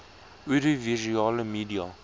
oudio visuele media